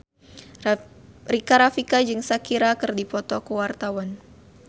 Rika Rafika jeung Shakira keur dipoto ku wartawan